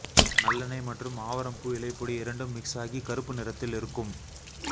நல் எண்ணெய் மற்றும் ஆவரம்பூ இலை பொடி இரண்டும் மிக்ஸ் ஆகி கறுப்பு நிறத்தில் இருக்கும்